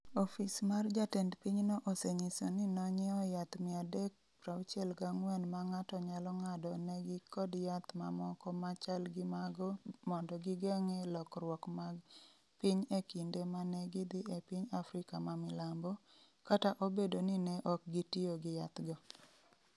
Ofis mar jatend pinyno osenyiso ni nonyiewo yath 364 ma ng’ato nyalo ng’ado negi kod yath mamoko ma chal gi mago mondo gigeng’e lokruok mag piny e kinde ma ne gidhi e piny Afrika ma milambo, kata obedo ni ne ok gitiyo gi yathgo.